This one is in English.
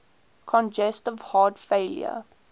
congestive heart failure